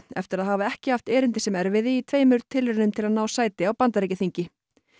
eftir að hafa ekki haft erindi sem erfiði í tveimur tilraunum til að ná sæti á Bandaríkjaþingi